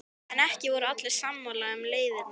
En ekki voru allir sammála um leiðirnar.